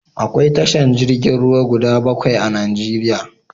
Akwai tashar jirgin ruwa guda bakwai a Najeriya.